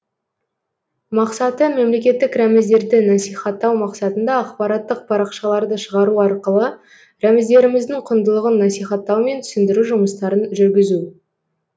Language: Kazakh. мақсаты мемлекеттік рәміздерді насихаттау мақсатында ақпараттық парақшаларды шығару арқылы рәміздеріміздің құндылығын насихаттау мен түсіндіру жұмыстарын жүргізу